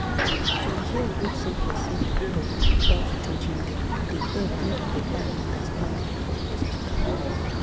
to hear wetin patient dey talk without judging dem dey help make better understanding for hospital